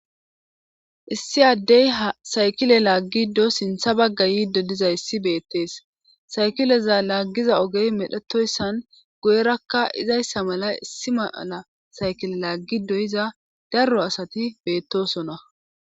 issi addey ha saykile laaggiddo sintha bagga yiiddo diza issi beettees saykileza laaggiza ogey medhetoyssan goyerakka izayssa mala issi maala saykile laaggidoyiza darro asati beettosona